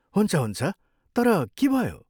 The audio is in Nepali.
हुन्छ हुन्छ, तर के भयो?